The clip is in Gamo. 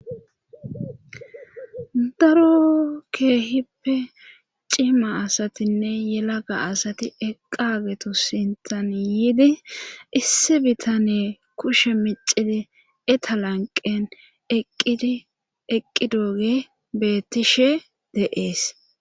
daro keehippe cima asatinne yelaga asati eqagetu sintan yiidi issi bitane kushe micidi etalanqen eqqi dooge beettishe de7ees